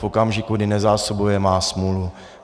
V okamžiku, kdy nezásobuje, má smůlu.